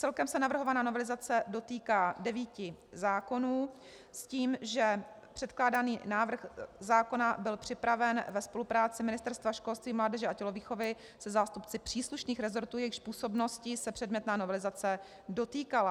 Celkem se navrhovaná novelizace dotýká devíti zákonů s tím, že předkládaný návrh zákona byl připraven ve spolupráci Ministerstva školství, mládeže a tělovýchovy se zástupci příslušných resortů, jejichž působností se předmětná novelizace dotýkala.